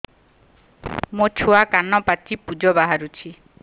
ମୋ ଛୁଆ କାନ ପାଚି ପୂଜ ବାହାରୁଚି